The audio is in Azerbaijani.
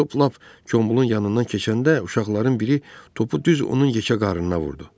Top lap Kombolun yanından keçəndə uşaqların biri topu düz onun yekə qarnına vurdu.